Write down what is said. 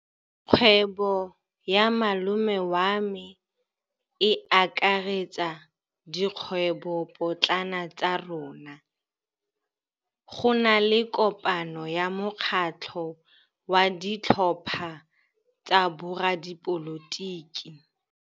Kgwêbô ya malome wa me e akaretsa dikgwêbôpotlana tsa rona. Go na le kopanô ya mokgatlhô wa ditlhopha tsa boradipolotiki.